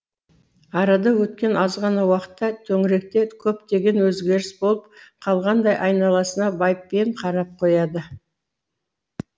арада өткен азғана уақытта төңіректе көптеген өзгеріс болып қалғандай айналасына байыппен қарап қояды